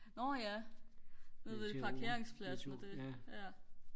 nårh ja nede ved parkeringspladsen og det ja